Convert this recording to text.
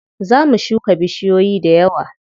Za mu shuka bishiyoyi dayawa.